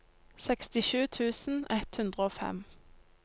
sekstisju tusen ett hundre og fem